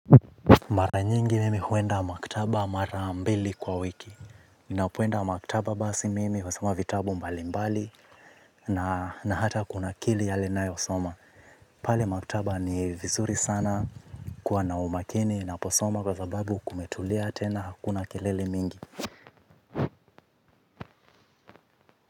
Mara nyingi mimi huenda maktaba mara mbili kwa wiki ninapoenda maktaba basi mimi husoma vitabu mbalimbali. Na hata kunakili yale nayosoma. Pale maktaba ni vizuri sana kuwa na umakini naposoma kwa sababu kumetulia tena hakuna kelele mingi.